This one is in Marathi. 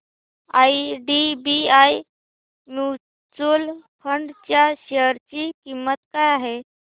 आयडीबीआय म्यूचुअल फंड च्या शेअर ची किंमत काय आहे